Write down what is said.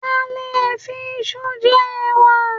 A lè fi isu jẹ ẹwà